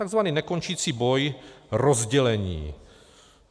Takzvaný nekončící boj rozdělení.